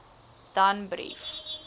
danbrief